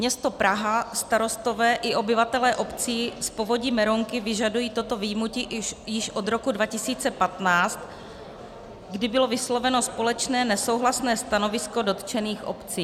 Město Praha, starostové i obyvatelé obcí z povodí Berounky vyžadují toto vyjmutí již od roku 2015, kdy bylo vysloveno společné nesouhlasné stanovisko dotčených obcí.